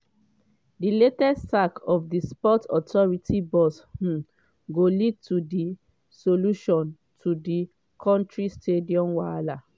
di latest sack of di sports authority boss um go lead to di solution to di kontri stadium wahala?